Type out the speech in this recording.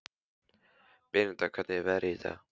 Beníta, hvernig er veðrið í dag?